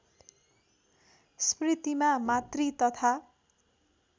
स्मृतिमा मातृ तथा